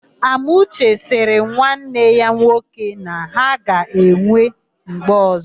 Amuche sịrị nwanne ya nwoke na ha ga-enwe mgbe ọ̀zọ́.